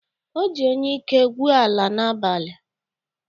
O ji onyeike gwuo ala n'abalị.